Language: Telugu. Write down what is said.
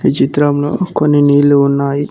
ఈ చిత్రంలో కొన్ని నీళ్లు ఉన్నాయి.